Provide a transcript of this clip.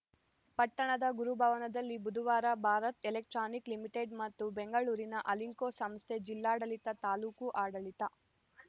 ಪಟ್ಟಣದ ಗುರುಭವನದಲ್ಲಿ ಬುಧವಾರ ಭಾರತ್‌ ಎಲೆಕ್ಟ್ರಾನಿಕ್‌ ಲಿಮಿಟೆಡ್‌ ಮತ್ತು ಬೆಂಗಳೂರಿನ ಅಲಿಂಕೊ ಸಂಸ್ಥೆ ಜಿಲ್ಲಾಡಳಿತ ತಾಲೂಕು ಆಡಳಿತ